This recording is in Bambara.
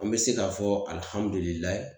An be se k'a fɔ Alihamudulilayi